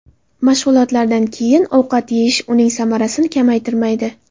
Mashg‘ulotlardan keyin ovqat yeyish uning samarasini kamaytirmaydi.